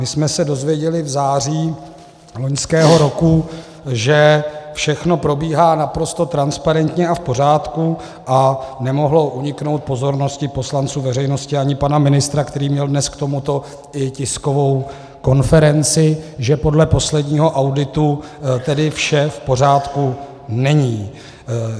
My jsme se dozvěděli v září loňského roku, že všechno probíhá naprosto transparentně a v pořádku, a nemohlo uniknout pozornosti poslanců, veřejnosti ani pana ministra, který měl dnes k tomuto i tiskovou konferenci, že podle posledního auditu tedy vše v pořádku není.